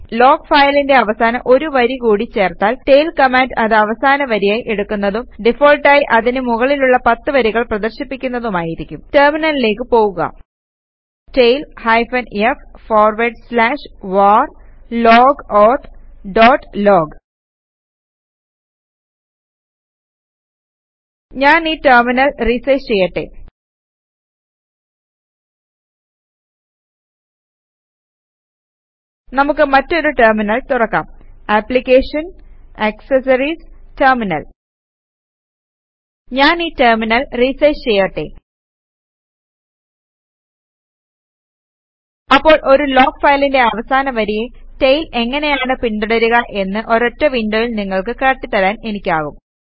log ഫയലിന്റെ അവസാനം ഒരു വരി കൂടി ചേർത്താൽ ടെയിൽ കമാൻഡ് അത് അവസാന വരിയായി എടുക്കുന്നതും ഡിഫാൾട്ടായി അതിനു മുകളിലുള്ള 10 വരികൾ പ്രദർശിപ്പിക്കുന്നതുമായിരിക്കും ടെർമിനലിലേക്ക് പോകുക tail hyphen f forward slash var log auth dot log ഞാൻ ഈ ടെർമിനൽ റിസൈസ് ചെയ്യട്ടെ നമുക്ക് മറ്റൊരു ടെർമിനൽ തുറക്കാം application GT accessories GT terminal ഞാൻ ഈ ടെർമിനൽ റിസൈസ് ചെയ്യട്ടെ അപ്പോൾ ഒരു ലോഗ് ഫയലിന്റെ അവസാന വരിയെ ടെയിൽ എങ്ങനെയാണ് പിന്തുടരുക എന്ന് ഒരൊറ്റ വിന്ഡോയിൽ നിങ്ങൾക്ക് കാട്ടിത്തരാൻ എനിക്കാകും